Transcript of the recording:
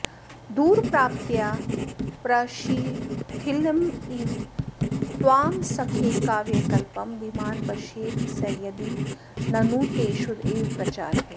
दूरप्राप्त्या प्रशिथिलमिव त्वां सखे काव्यकल्पं धीमान् पश्येत् स यदि ननु ते शुद्ध एव प्रचारः